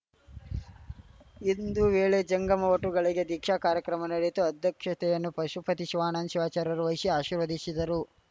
ಇಂದು ವೇಳೆ ಜಂಗಮ ವಟುಗಳಿಗೆ ದೀಕ್ಷಾ ಕಾರ್ಯಕ್ರಮ ನಡೆಯಿತು ಅಧ್ಯಕ್ಷತೆಯನ್ನು ಪಶುಪತಿ ಶಿವಾನಂದ ಶಿವಾಚಾರ್ಯರು ವಹಿಶಿ ಆಶೀರ್ವದಿಶಿದರು